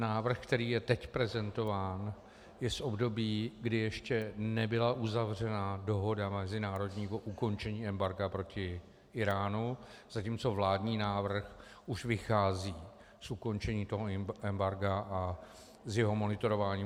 Návrh, který je teď prezentován, je z období, kdy ještě nebyla uzavřena dohoda mezinárodního ukončení embarga proti Íránu, zatímco vládní návrh už vychází z ukončení toho embarga a z jeho monitorování.